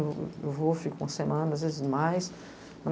Eu vou, fico uma semana, às vezes mais.